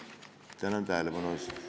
Tänan tähelepanu eest!